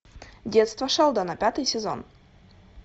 детство шелдона пятый сезон